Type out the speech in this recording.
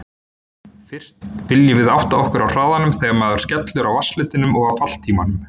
Fyrst viljum við átta okkur á hraðanum þegar maðurinn skellur á vatnsfletinum og á falltímanum.